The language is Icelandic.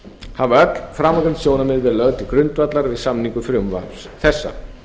hafa öll framangreind sjónarmið verið lögð til grundvallar við samningu frumvarps þessa